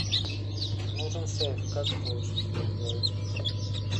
нужен сейф как это лучше всего сделать